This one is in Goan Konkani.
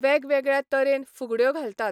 वेग वेगळ्या तरेन फुगड्यो घालतात.